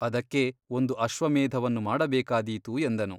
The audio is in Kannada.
ಅದಕ್ಕೆ ಒಂದು ಅಶ್ವಮೇಧವನ್ನು ಮಾಡಬೇಕಾದೀತು ಎಂದನು.